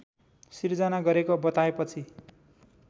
सिर्जना गरेको बताएपछि